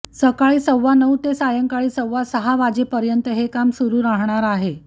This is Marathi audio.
सकाळी सवानऊ ते सायंकाळी सव्वा सहा वाजेपर्यं हे काम सुरु रहाणार आहे